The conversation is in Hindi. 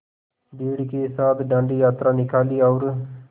भीड़ के साथ डांडी यात्रा निकाली और